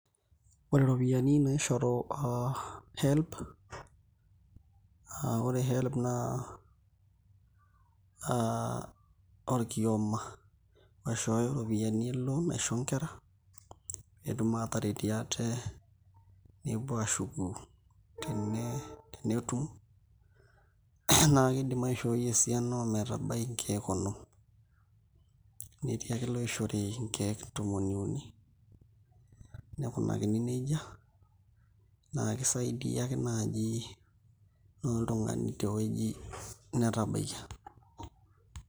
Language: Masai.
Ore iropiyiani naishoru HELB aa ore HELB naa orkioma oishooyo iropiyiani eloon aisho nkera pee etum aataretie ate nepuo aashuku tenetum naa kiidim aishooi esiana ometabaiki nkeek onom, netii ake iloishori nkeek tomon iuni nikunakini neija naa kisaidia ake naaji naa oltung'ani tewueji netabaikia.